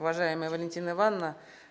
уважаемая валентина ивановна